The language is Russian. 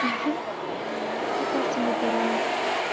ха мне кажется мне пора